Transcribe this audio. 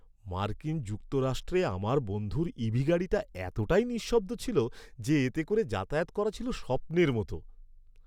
মার্কিন যুক্তরাষ্ট্রে আমার বন্ধুর ইভি গাড়িটা এতটাই নিঃশব্দ ছিল যে এতে করে যাতায়াত করা ছিল স্বপ্নের মতো।